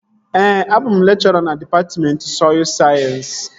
Ee, abụ m lekchọra na dịpatmentị sọy sayensị